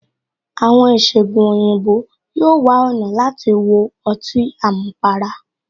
Àwọn ìṣẹgun òyìnbó yóò wá ọ̀nà láti wo ọtí àmupara